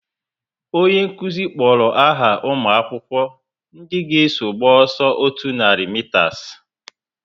Onye nkụzi kpọrọ aha umuakwukwo ndị ga eso gba ọsọ otú nari mitas